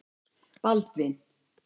Baldvin